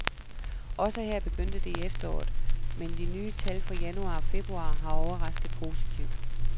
Også her begyndte det i efteråret, men de nye tal for januar og februar har overrasket positivt.